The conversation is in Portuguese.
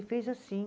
Fez assim.